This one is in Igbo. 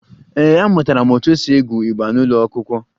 Ee, amụtara m otú e si egwu igba n'ụlọ akwụkwọ